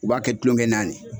U b'a kɛ tulonkɛnan le